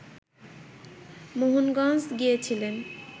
মোহনগঞ্জ গিয়েছিলেন